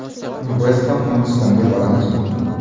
Biz ham Hindistonga boramizmi?